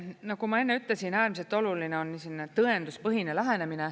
Nagu ma enne ütlesin, äärmiselt oluline on tõenduspõhine lähenemine.